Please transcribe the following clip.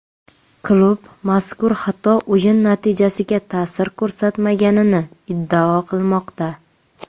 Klub mazkur xato o‘yin natijasiga ta’sir ko‘rsatmaganini iddao qilmoqda.